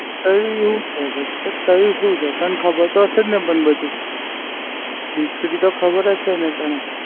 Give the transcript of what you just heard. તયી હુ છે ભઈ. તો તયી શું છે તને ખબર તો સે ન પણ બધું History તો ખબર જ છે ને તને.